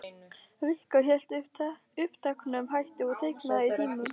Rikka hélt uppteknum hætti og teiknaði í tímum.